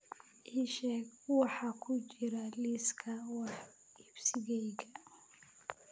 ii sheeg waxa ku jira liiska wax iibsigayga